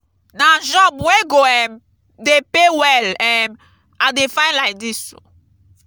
na job wey go um dey pay well um i dey find lai dis.